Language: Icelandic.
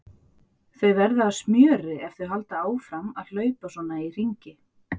Þau verða að smjöri ef þau halda áfram að hlaupa svona í hringi.